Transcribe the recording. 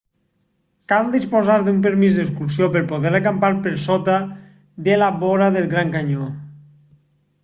cal disposar d'un permís d'excursió per poder acampar per sota de la vora del gran canyó